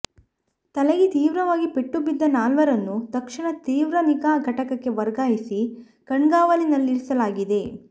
ತಲೆಗೆ ತೀವ್ರವಾಗಿ ಪೆಟ್ಟು ಬಿದ್ದ ನಾಲ್ವರನ್ನು ತಕ್ಷಣ ತೀವ್ರ ನಿಗಾ ಘಟಕಕ್ಕೆ ವರ್ಗಾಯಿಸಿ ಕಣ್ಗಾವಲಿನಲ್ಲಿರಿಸಲಾಗಿದೆ